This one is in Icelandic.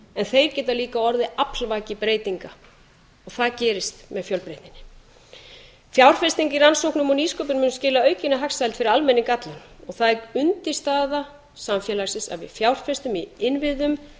en þeir geta líka orðið aflvaki breytinga og það gerist með fjölbreytninni fjárfesting í rannsóknum og nýsköpun mun skila aukinni hagsæld fyrir almenning allan og það er undirstaða samfélagsins að við fjárfestum í innviðum